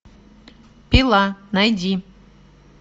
пила найди